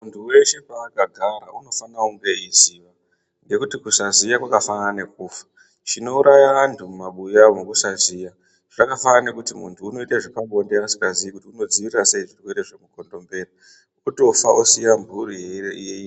Muntu weshe paakagara unofana unge eiziya. Ngekuti kusaziya kwakafanana nekufa. Chinouraya vantu mumabuya umu kusaziya , zvakafanana nekuti muntu unoita zvepabonde asingazii kuti unodzivirira sei zvirwere zvemukondombera, kutofa iyisiya mhuri.